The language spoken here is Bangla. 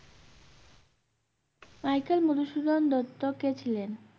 মাইকেল মধুসূদন দত্ত কে ছিলেন?